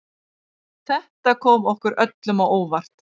Þetta kom okkur öllum á óvart